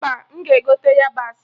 Mba, m ga-egote yabasị